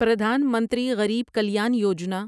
Pradhan Mantri Garib Kalyan Yojana